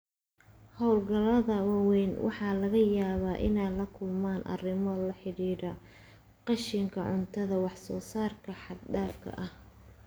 Hawlgallada waaweyn waxa laga yaabaa inay la kulmaan arrimo la xidhiidha qashinka cuntada iyo wax-soo-saarka xad-dhaafka ah.